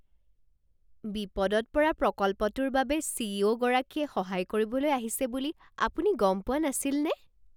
বিপদত পৰা প্ৰকল্পটোৰ বাবে চি.ই.অ'. গৰাকীয়ে সহায় কৰিবলৈ আহিছে বুলি আপুনি গম পোৱা নাছিলনে?